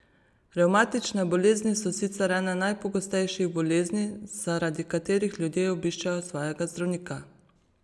Revmatične bolezni so sicer ene najpogostejših bolezni, zaradi katerih ljudje obiščejo svojega zdravnika.